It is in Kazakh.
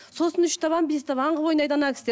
сосын үш табан бес табан қылып ойнайды ана кісілер